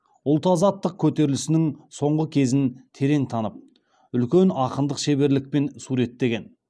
ұлт азаттық көтерілісінің соңғы кезін терең танып үлкен ақындық шеберлікпен суреттеген